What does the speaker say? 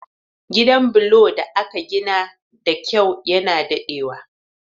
Gidan bulo da aka gina da kyau na daɗewa